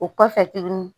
O kɔfɛ tuguni